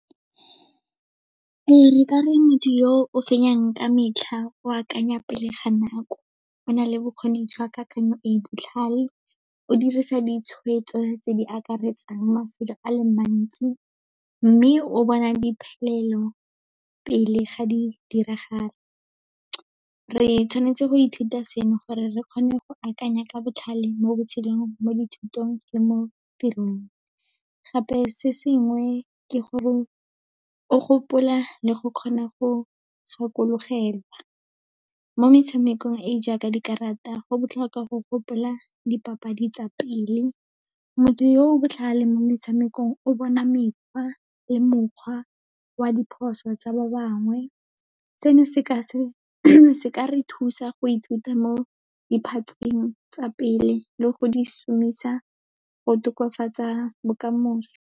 Ee, nkare motho o fenyang ka metlha o akanya pele ga nako, o na le bokgoni jwa kakanyo e botlhale, o dirisa ditshwetso tse di akaretsang mafelo a le mantsi, mme o bona pele ga di diragala. Re tshwanetse go ithuta seno gore re kgone go akanya ka botlhale mo botshelong, mo dithutong le mo tirong. Gape se sengwe ke gore, o gopola le go kgona go gakologelwa. Mo metshamekong e e jaaka dikarata, go botlhokwa go gopola dipapadi tsa pele, motho yo o botlhale mo metshamekong o bona mekgwa le mokgwa wa diphoso tsa ba bangwe, seno se ka re thusa go ithuta mo diphatseng tsa pele le go dišomiša go tokafatsa bokamoso.